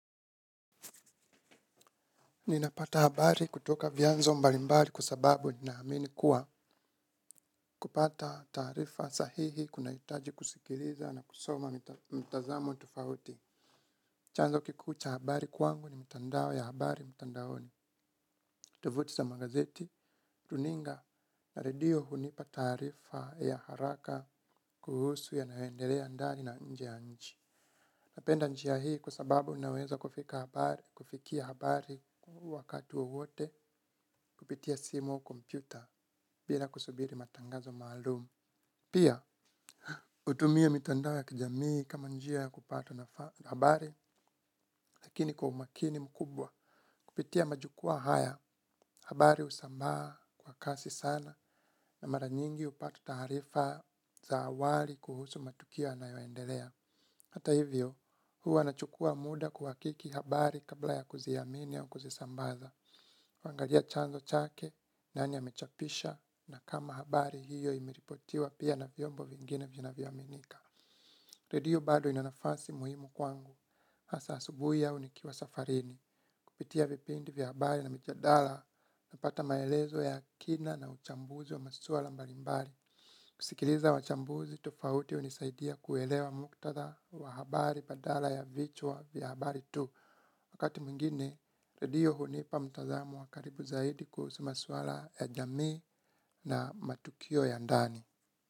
Ninapata habari kutoka vyanzo mbalimbari kwa sababu ninaamini kuwa kupata taarifa sahihi kunahitaji kusikiliza na kusoma mtazamo tofauti. Chanzo kikuu cha habari kwangu ni mtandao ya habari mtandaoni. Tovuti za magazeti, runinga na radio hunipa taarifa ya haraka kuhusu yanayoendelea ndani na nje ya nchi. Napenda njia hii kwa sababu inaweza kufika habari, kufikia habari wakati wowote kupitia simu kompyuta bila kusubiri matangazo maalumu. Pia, hutumia mitandao ya kijamii kama njia ya kupatwa na habari lakini kwa umakini mkubwa. Kupitia majukwaa haya, habari husambaa kwa kasi sana na mara nyingi hupata taarifa za awali kuhusu matukio ysnayoendelea. Hata hivyo, huwa nachukua muda kuhakiki habari kabla ya kuziamini au kuzisambaza. Huangalia chanzo chake, nani amechapisha, na kama habari hiyo imeripotiwa pia na vyombo vingine vinavyoaminika. Redio bado ina nafasi muhimu kwangu, hasa asubuhi au nikiwa safarini. Kupitia vipindi vya habari na mijadala napata maelezo ya kina na uchambuzi wa masuwala mbalimbari. Kusikiliza wachambuzi tofauti hunisaidia kuelewa muktadha wa habari badala ya vichwa vya habari tu. Wakati meingine, redio hunipa mtazamo wa karibu zaidi kuhusu maswala ya jamii na matukio ya ndani.